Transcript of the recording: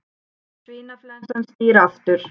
Svínaflensan snýr aftur